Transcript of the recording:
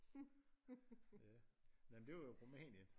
Ja nej men det var jo